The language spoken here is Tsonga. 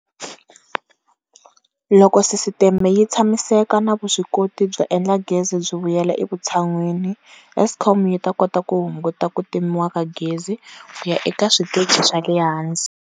Loko sisiteme yi tshamiseka na vuswikoti byo endla gezi byi vuyela evutshan'wini, Eskom yi ta kota ku hunguta ku timiwa ka gezi ku ya eka switeji swa le hansi.